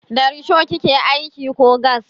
Da risho kike aiki ko gas?